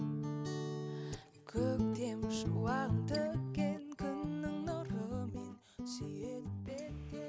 көктем шуағын төккен күннің нұрымен сүйеді